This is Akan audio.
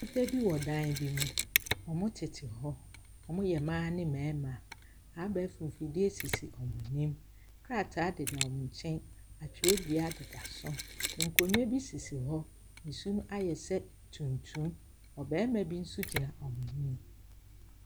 Nnipa bi wɔ dan bi mu. Wɔtete hɔ. Wɔyɛ mmaa ne mmarima. Abɛɛfo mfidie sisi wɔn anim. Krataa deda wɔn nkyɛn, na twerɛdua deda so. Nkonnwa bi sisi hɔ, na so ayɛ sɛ tuntum. Ɔbarima nso gyina wɔn anim.